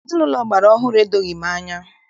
Ezinaụlọ ọgbara ọhụrụ a edoghị m anya.